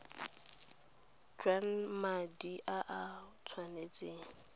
jwa madi a o tshwanetseng